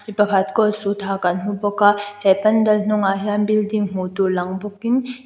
pakhat coat suit ha kan hmu bawk a he pandal hnungah hian building hmuh tur lang bawkin --